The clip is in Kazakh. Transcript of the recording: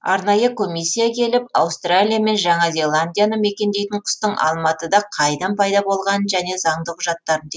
арнайы комиссия келіп аустралия мен жаңа зеландияны мекендейтін құстың алматыда қайдан пайда болғанын және заңды құжаттарын